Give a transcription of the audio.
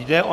Jde o